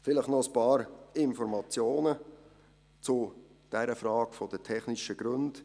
Vielleicht noch ein paar Informationen zur Frage der technischen Gründe.